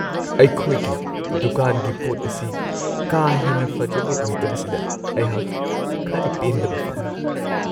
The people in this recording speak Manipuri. ꯑꯩꯈꯣꯏꯒꯤ ꯗꯨꯀꯥꯟꯒꯤ ꯄꯣꯠ ꯑꯁꯤ ꯀꯥ ꯍꯦꯟꯅ ꯐꯖꯕ ꯑꯣꯏꯗꯕꯁꯤꯗ ꯑꯩꯍꯥꯛ ꯈꯔ ꯄꯦꯟꯗꯕ ꯐꯥꯎꯋꯤ ꯫